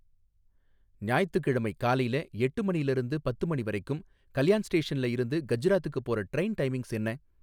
ஞாயித்துக்கிழமை காலைல எட்டு மணில இருந்து பத்து மணி வரைக்கும் கல்யாண் ஸ்டேஷன்ல இருந்து கஜ்ராத்துக்குப் போற ட்ரெயின் டைமிங்ஸ் என்ன?